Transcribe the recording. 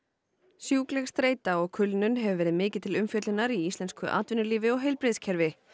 sjúkleg streita og kulnun hefur verið mikið til umfjöllunar í íslensku atvinnulífi og heilbrigðiskerfi